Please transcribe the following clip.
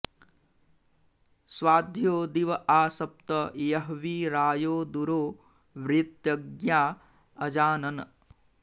स्वा॒ध्यो॑ दि॒व आ स॒प्त य॒ह्वी रा॒यो दुरो॒ व्यृ॑त॒ज्ञा अ॑जानन्